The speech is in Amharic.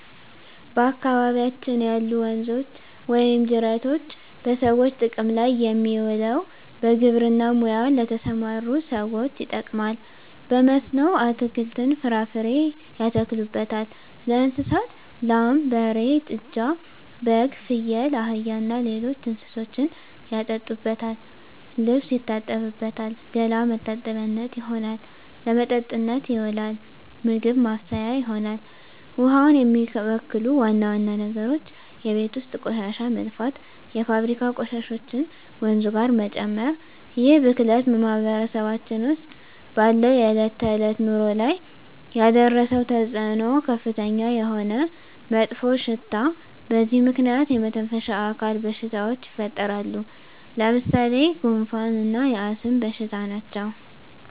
በአካባቢያችን ያሉ ወንዞች ወይም ጅረቶች በሰዎች ጥቅም ላይ የሚውለው በግብርና ሙያ ለተሠማሩ ሠዎች ይጠቅማል። በመስኖ አትክልትን፣ ፍራፍሬ ያተክሉበታል። ለእንስሳት ላም፣ በሬ፣ ጥጃ፣ በግ፣ ፍየል፣ አህያ እና ሌሎች እንስሶችን ያጠጡበታል፣ ልብስ ይታጠብበታል፣ ገላ መታጠቢያነት ይሆናል። ለመጠጥነት ይውላል፣ ምግብ ማብሠያ ይሆናል። ውሃውን የሚበክሉ ዋና ዋና ነገሮች የቤት ውስጥ ቆሻሻ መድፋት፣ የፋብሪካ ቆሻሾችን ወንዙ ጋር መጨመር ይህ ብክለት በማህበረሰባችን ውስጥ ባለው የዕለት ተዕለት ኑሮ ላይ ያደረሰው ተፅዕኖ ከፍተኛ የሆነ መጥፎሽታ በዚህ ምክንያት የመተነፈሻ አካል በሽታዎች ይፈጠራሉ። ለምሣሌ፦ ጉንፋ እና የአስም በሽታ ናቸው።